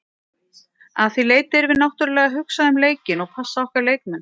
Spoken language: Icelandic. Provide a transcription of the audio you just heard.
Að því leyti erum við náttúrulega að hugsa um leikinn og passa okkar leikmenn.